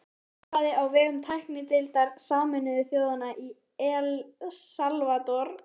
Sveinn starfaði á vegum tæknideildar Sameinuðu þjóðanna í El Salvador